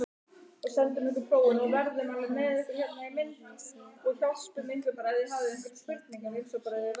Helga Arnardóttir: Jæja, hvað eruð þið að selja hér?